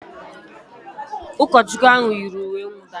Ụkọchukwu ahụ yiri uwe nwụda